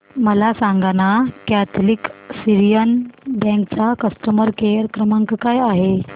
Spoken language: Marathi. मला सांगाना कॅथलिक सीरियन बँक चा कस्टमर केअर क्रमांक काय आहे